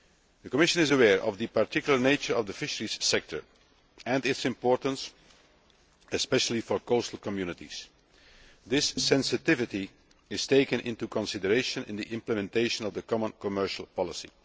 The Commission is aware of the particular nature of the fisheries sector and its importance, especially for coastal communities. This sensitivity is taken into consideration in the implementation of the common commercial policy.